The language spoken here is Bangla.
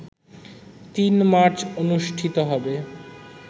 ৩ মার্চ অনুষ্ঠিত হবে